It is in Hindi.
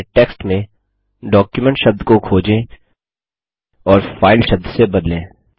अब अपने टेक्स्ट में डॉक्यूमेंट शब्द को खोजें और फाइल शब्द से बदलें